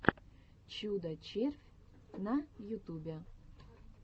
чудо червь на ютубе